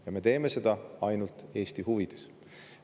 Ja me teeme seda ainult Eesti huvides.